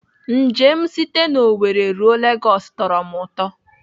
Njem m site na Owerri ruo Legosi tọrọ m ụtọ.